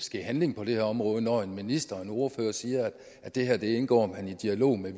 ske handling på det her område når en minister og en ordfører siger at det her indgår man i dialog med